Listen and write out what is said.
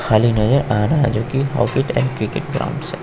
खाली नहीं है आना है जो कि से।